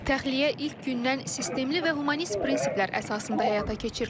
Təxliyə ilk gündən sistemli və humanist prinsiplər əsasında həyata keçirilir.